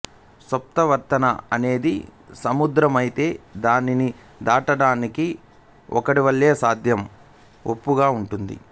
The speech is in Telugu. సత్ప్రవర్తన అనేది సముద్రమైతే దానిని దాటడానికి ఓడవలే సత్యం ఒప్పుగా ఉంటుంది